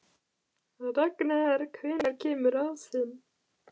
Ragnar, hvenær kemur ásinn?